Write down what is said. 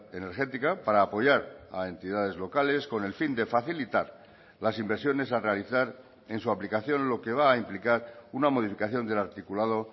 energética para apoyar a entidades locales con el fin de facilitar las inversiones a realizar en su aplicación lo que va a implicar una modificación del articulado